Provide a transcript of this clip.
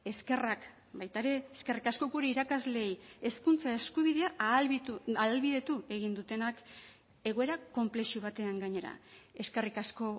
eskerrak baita ere eskerrik asko gure irakasleei hezkuntza eskubidea ahalbidetu egin dutenak egoera konplexu batean gainera eskerrik asko